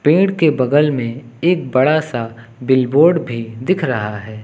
पेड़ के बगल में एक बड़ा सा बिल बोर्ड भी दिख रहा है।